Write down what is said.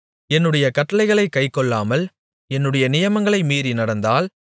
என்னுடைய கட்டளைகளைக் கைக்கொள்ளாமல் என்னுடைய நியமங்களை மீறி நடந்தால்